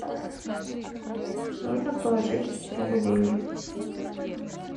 нужно положить другу деньги